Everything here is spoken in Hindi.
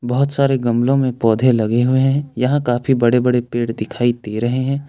बहुत सारे गमलों में पौधे लगे हुए हैं यहां काफी बड़े बड़े पेड़ दिखाई दे रहे हैं।